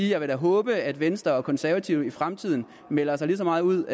jeg da vil håbe at venstre og konservative i fremtiden melder sig lige så meget ud